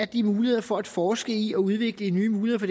de muligheder for at forske i og udvikle nye muligheder